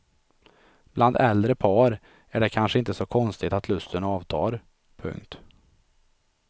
Bland äldre par är det kanske inte så konstigt att lusten avtar. punkt